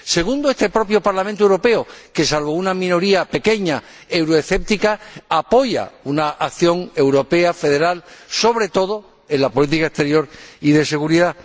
Segundo, este propio Parlamento Europeo, que, salvo una pequeña minoría euroescéptica, apoya una acción europea, federal, sobre todo en la política exterior y de seguridad.